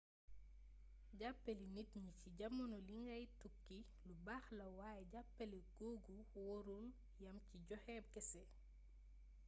jàppale nit ñi ci jamono ji ngay tukki lu baax la waaye jàppale googu warul yam ci joxe kese